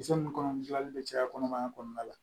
Kisɛ nunnu kɔnɔ gilanni bɛ caya kɔnɔmaya kɔnɔna la